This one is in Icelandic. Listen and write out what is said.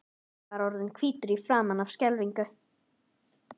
Gunni var orðinn hvítur í framan af skelfingu.